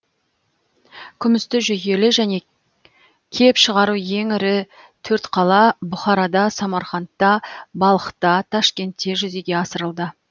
күмісті жүйелі және кеп шығару ең ірі төрт қала бұхарада самарқандта балхта ташкентте жүзеге асырылды